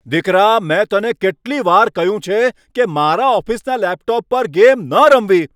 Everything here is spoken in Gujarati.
દીકરા, મેં તને કેટલી વાર કહ્યું છે કે મારા ઓફિસના લેપટોપ પર ગેમ ન રમવી?